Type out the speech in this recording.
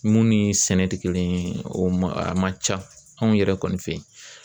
Mun ni sɛnɛ tɛ kelen ye o man ca anw yɛrɛ kɔni fɛ yen